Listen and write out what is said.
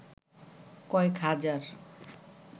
কয়েক হাজার